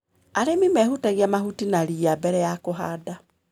Arĩmi mehutagia mahuti na ria mbere ya kũhanda.